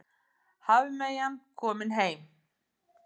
Hafmeyjan komin heim